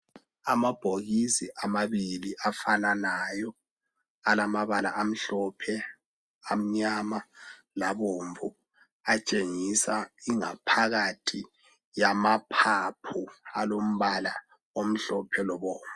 Amabhokisi amabili afananayo alamabala omhlophe, amnyama labomvu. Atshengisa ingaphakathi yamaphaphu alombala omhlophe lobomvu.